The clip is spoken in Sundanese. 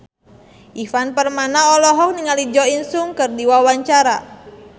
Ivan Permana olohok ningali Jo In Sung keur diwawancara